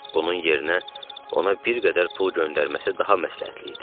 Bunun yerinə ona bir qədər pul göndərməsi daha məsləhətli idi.